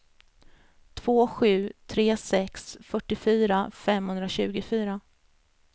två sju tre sex fyrtiofyra femhundratjugofyra